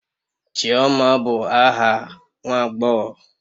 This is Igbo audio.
Chioma bụ aha nwa agbọghọ